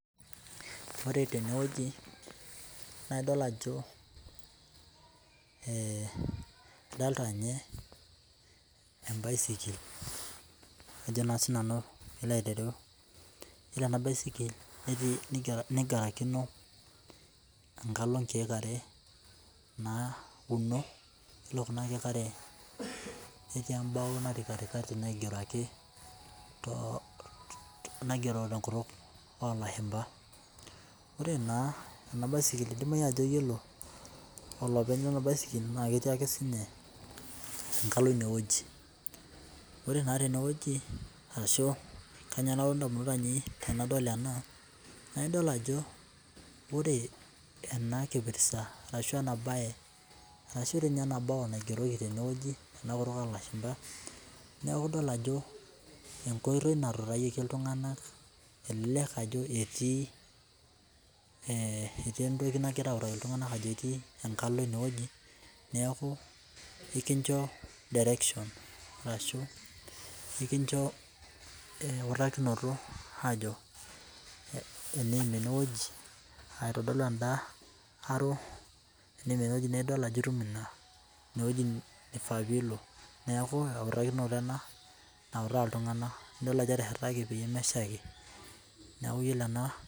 Ore tenewueji nadol ajo ee adolta nye embaisikil ajo na sinanu pilo ayilou yiolo enabaisikil nigarakino enkalo nkirk are nauno ore kuna kiek arenetii embao natii katikati naigero tenkutuk olashumba ore enabaisikil idimayubajo ore olopeny lenabaisikil na ketii enkalo inewueji ashu kanyio nalotu ndamunot ainei tanadol ena na idol ajo ore enakipirta ashu enabao naigeroko tene tenakutuk olashumba neakubidol ajo enkoitoi natuutayieki ltunganak enkoitoi naji etii entoki nagirai autaki ltunganak ajo etii enkalo inewueji neaku ekincho eutakino ajo eniim enewueji aitodol emda arrow na. Itum ifaa pilo neaku eutakino ena niutaa ltunganak idol ajo eteshetaki pemeshaki neaku iyolo ena.